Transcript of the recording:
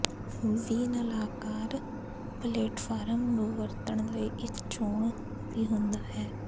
ਵੀ ਨਲਾਕਾਰ ਪਲੇਟਫਾਰਮ ਨੂੰ ਵਰਤਣ ਲਈ ਇੱਕ ਚੋਣ ਵੀ ਹੁੰਦਾ ਹੈ